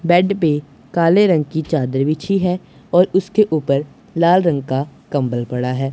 Bed पे काले रंग की चादर बिछी है और उसके ऊपर लाल रंग का कंबल पड़ा है।